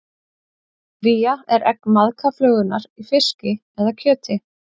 Vía er egg maðkaflugunnar í fiski eða kjöti.